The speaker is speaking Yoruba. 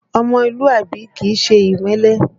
Ọmọlúàbí kìí ṣe ìmẹ́lẹ́